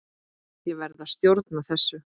Ég verð að stjórna þessu.